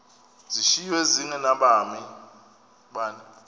zishiywe zinge nabani